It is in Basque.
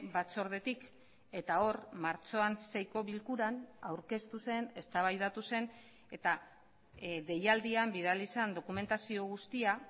batzordetik eta hor martxoan seiko bilkuran aurkeztu zen eztabaidatu zen eta deialdian bidali zen dokumentazio guztia